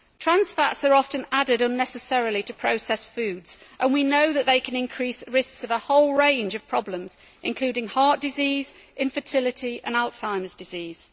Trans fats are often added unnecessarily to processed foods, when we know that they can increase risks of a whole range of problems, including heart disease, infertility and Alzheimer's disease.